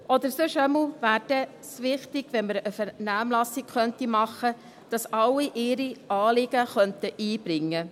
Oder sonst wäre es dann jedenfalls wichtig, dass man eine Vernehmlassung machen könnte, damit alle ihre Anliegen einbringen könnten.